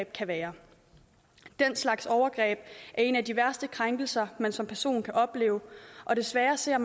kan være den slags overgreb er en af de værste krænkelser man som person kan opleve og desværre ser